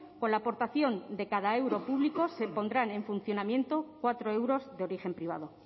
con la aportación de cada euro público se pondrán en funcionamiento cuatro euros de origen privado